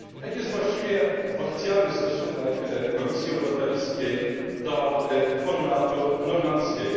Jak jest właściwie oficjalny stosunek Komisji Europejskiej do formatu normandzkiego?